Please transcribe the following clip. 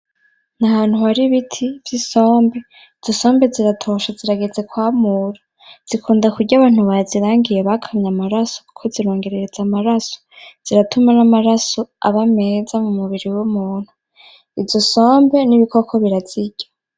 Nahantu hari ibiti vy'isombe ,izo sombe ziratoshe zirageze kwamura zikunda kurya abntu bazirangiye bakamye amaraso kuko zirongerereza amaraso ziratuma n'amaraso aba meza mumubiri w'umuntu. Izo sombe n'ibikoko birazirya.